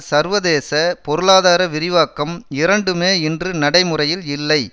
சர்வதேச பொருளாதார விரிவாக்கம் இரண்டுமே இன்று நடைமுறையில் இல்லை